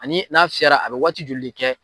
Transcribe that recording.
Ani n'a fiyɛ la a bɛ waatij joli de kɛ?